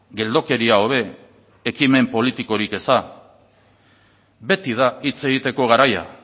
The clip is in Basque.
geldokeria hobe ekimen politikorik eza beti da hitz egiteko garai